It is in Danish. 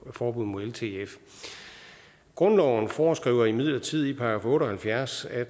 forbud mod ltf grundloven foreskriver imidlertid i § otte og halvfjerds at